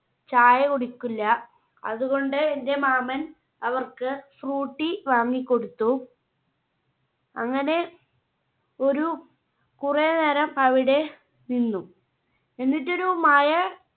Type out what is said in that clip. ചായ കുടിക്കില്ല. അതുകൊണ്ട് എന്റെ മാമൻ അവർക്ക് Frooti വാങ്ങി കൊടുത്തു. അങ്ങനെ ഒരു കുറെ നേരം അവിടെ നിന്നു. എന്നിട്ടൊരു മഴ